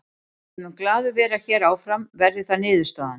Ég mun glaður vera hér áfram verði það niðurstaðan.